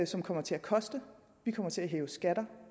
som kommer til at koste vi kommer til at hæve skatter